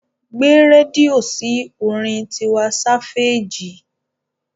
Gbé rédíò sí orin Tiwa Sáféèjì.